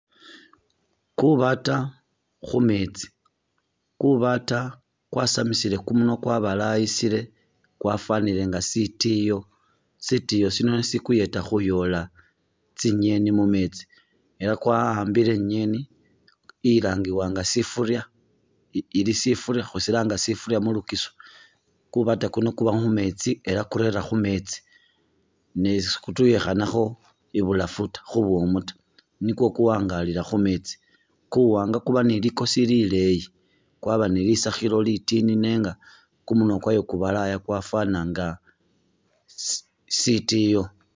Kubaata khumeetsi, kubaata kwasamisile kumunwa kwabalayisile kwafanile nga sitiyo ,sitiyo sino nisho sikuyeta khuyoola tsinyeni mumeetsi ela kwa'ambile inyeni ilangilbwa nga sifurya e ili sifurya khusilanga sifurya mu lugisu ,kubaata kuno kuba khumeetsi ela kurera khumeetsi ne sikutuyikhanakho ibulafu ta khumumu ta, nikwo kuwangalila khumeetsi, kuwanga kuba ni likosi lileyi ,kwaba ni lisakhilo litini nenga kumunwa kwayo kubalaya kwafana nga si sitiyo